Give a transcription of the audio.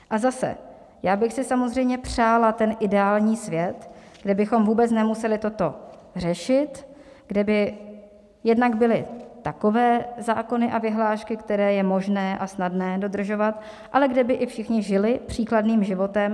A zase, já bych si samozřejmě přála ten ideální svět, kde bychom vůbec nemuseli toto řešit, kde by jednak byly takové zákony a vyhlášky, které je možné a snadné dodržovat, ale kde by i všichni žili příkladným životem.